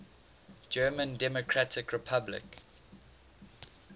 german democratic republic